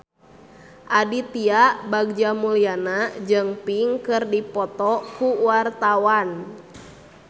Aditya Bagja Mulyana jeung Pink keur dipoto ku wartawan